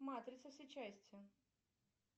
матрица все части